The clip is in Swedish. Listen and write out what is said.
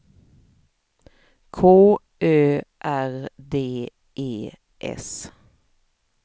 K Ö R D E S